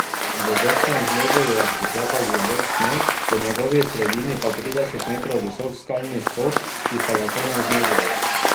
V vršnem žlebu ju je pričakal globok sneg, v njegovi sredini pa trideset metrov visok skalni skok, ki sta ga komaj zmogla.